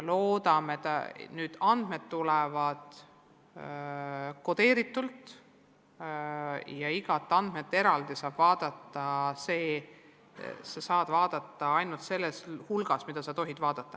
Loodame, et nüüd andmed tulevad kodeeritult ja kõiki andmeid saab eraldi vaadata, aga saab vaadata ainult selles piires, milleks luba on.